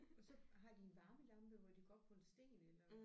Og så har de en varmelampe hvor de går op på en sten eller